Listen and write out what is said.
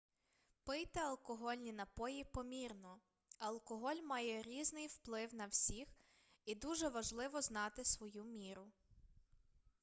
пийте алкогольні напої помірно алкоголь має різний вплив на всіх і дуже важливо знати свою міру